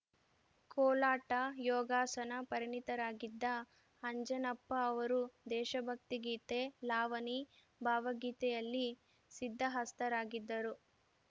ಕೋಲಾಟ ಯೋಗಾಸನ ಪರಿಣಿತರಾಗಿದ್ದ ಅಂಜನಪ್ಪ ಅವರು ದೇಶಭಕ್ತಿ ಗೀತೆ ಲಾವಣಿ ಭಾವಗೀತೆಯಲ್ಲಿ ಸಿದ್ಧಹಸ್ತರಾಗಿದ್ದರು